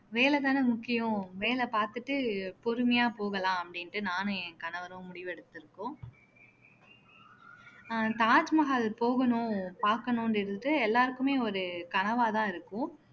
வேலைதான முக்கியம் வேலை பார்த்துட்டு பொறுமையா போகலாம் அப்படின்ட்டு நானும் என் கணவரும் முடிவெடுத்திருக்கோம் அஹ் தாஜ்மஹால் போகணும் பார்க்கணுன்றது எல்லாருக்குமே ஒரு கனவாதான் இருக்கும்